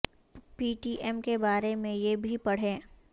پی T M کے بارے میں یہ بھی پڑھیے